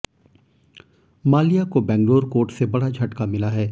माल्या को बैंगलोर कोर्ट से बड़ा झटका मिला है